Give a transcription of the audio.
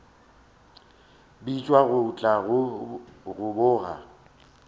bitšwa go tla go boga